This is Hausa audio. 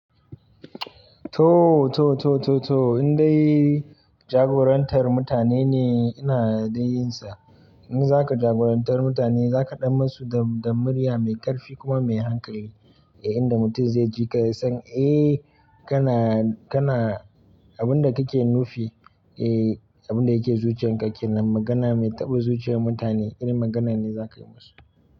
To, to, to, to, to in dai jagorantar mutane ne ina dai yin sa. In za ka jagorantar mutane za ka ɗan musu da, da murya mai ƙarfi kuma mai hankali. Eh, inda mutum zai ji ka ya san, eh kana, kana abin da kake nufi. Eh, abin da yake zuciyarka kenan magana mai taɓa zuciyar mutane irin magana ne za ka yi musu.